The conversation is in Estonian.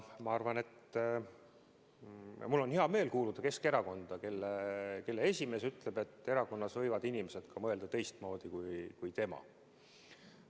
Mul on hea meel kuuluda Keskerakonda, mille esimees ütleb, et erakonnas võivad inimesed mõelda ka teistmoodi kui tema.